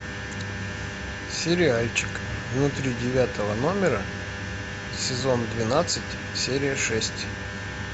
сериальчик внутри девятого номера сезон двенадцать серия шесть